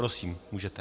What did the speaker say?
Prosím, můžete.